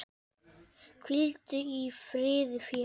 Hvíldu í friði félagi.